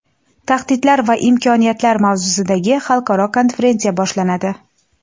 Tahdidlar va imkoniyatlar mavzusidagi xalqaro konferensiya boshlanadi.